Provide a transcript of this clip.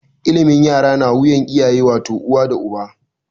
Ilimin yara na wuyar iyaye wato, uwa da uba.